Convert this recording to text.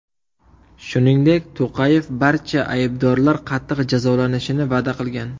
Shuningdek, To‘qayev barcha aybdorlar qattiq jazolanishini va’da qilgan.